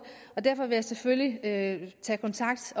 derfor vil jeg selvfølgelig tage til kontakt